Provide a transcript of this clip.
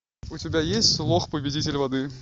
у тебя есть лох победитель воды